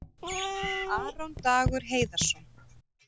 Aron Dagur Heiðarsson